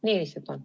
Nii lihtsalt on.